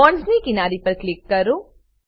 બોન્ડસની કિનારી પર ક્લિક કરો